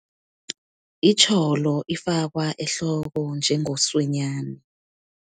Itjholo, ifakwa ehloko njengoswenyana.